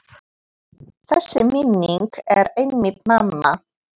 Þessi minning er einmitt mamma.